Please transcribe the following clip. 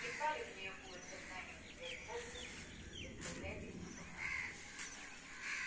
едва ли в неё будет когда-нибудь возможность выставлять их напоказ